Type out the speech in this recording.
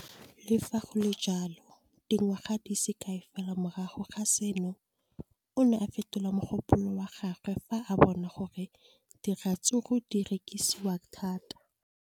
Le fa go le jalo, dingwaga di se kae fela morago ga seno, o ne a fetola mogopolo wa gagwe fa a bona gore diratsuru di rekisiwa thata.